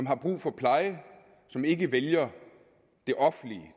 har brug for pleje som ikke vælger det offentlige